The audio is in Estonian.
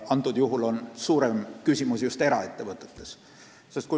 Antud juhul on suurem küsimus just eraettevõtetes.